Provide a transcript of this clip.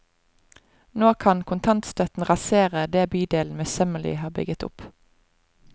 Nå kan kontantstøtten rasere det bydelen møysommelig har bygget opp.